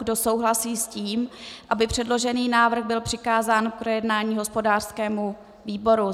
Kdo souhlasí s tím, aby předložený návrh byl přikázán k projednání hospodářskému výboru?